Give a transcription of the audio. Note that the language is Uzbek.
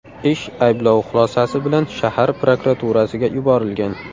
Ish ayblov xulosasi bilan shahar prokuraturasiga yuborilgan.